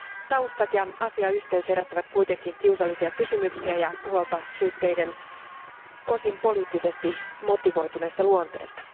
Taustat ja asiayhteys herättävät kuitenkin kiusallisia kysymyksiä ja huolta syytteiden osin poliittisesti motivoituneesta luonteesta.